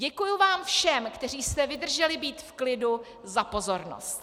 Děkuji vám všem, kteří jste vydrželi být v klidu, za pozornost.